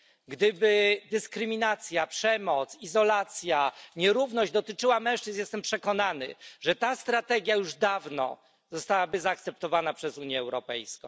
Gdyby dyskryminacja, przemoc, izolacja, nierówność dotyczyła mężczyzn, jestem przekonany, że ta strategia już dawno zostałaby przyjęta przez Unię Europejską.